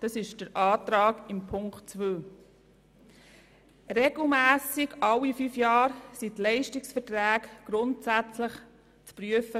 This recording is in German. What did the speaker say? So lautet Ziffer 2. Regelmässig, alle fünf Jahre, sind die Leistungsverträge gemäss Ziffer 3 grundsätzlich zu prüfen.